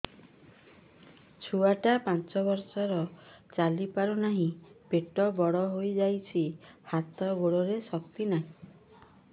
ଛୁଆଟା ପାଞ୍ଚ ବର୍ଷର ଚାଲି ପାରୁ ନାହି ପେଟ ବଡ଼ ହୋଇ ଯାଇଛି ହାତ ଗୋଡ଼ରେ ଶକ୍ତି ନାହିଁ